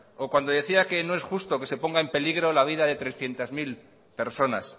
o cuando decía que no es justo que se ponga en peligro la vida de trescientos mil personas